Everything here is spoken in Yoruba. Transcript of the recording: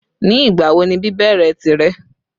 Ní ìgbàwo ni bíbèrè tìre?